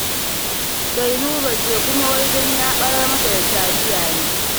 Sailuba ce, kuma wai don ya ɓarar mata da taliya ne.